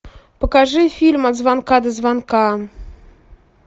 покажи фильм от звонка до звонка